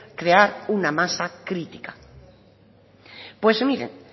crear una masa crítica pues miren